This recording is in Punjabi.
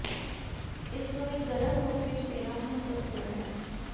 ਇਸ ਨੂੰ ਇੱਕ ਗਰਮ ਰੂਪ ਵਿੱਚ ਪੀਣਾ ਮਹੱਤਵਪੂਰਣ ਹੈ